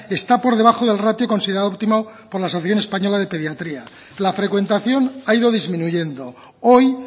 está por debajo del ratio considerado óptimo por la asociación española de pediatría la frecuentación ha ido disminuyendo hoy